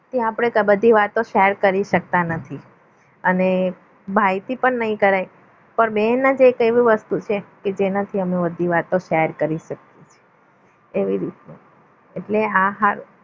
કે આપણે બધી વાતો share કરી શકતા નથી અને ભાઈથી પણ નહીં કરાય પણ બેન જ એક એવી વસ્તુ છે કે જેનાથી આપણે બધી વાતો share કરી શકીએ એવી રીતે એટલે આ હાર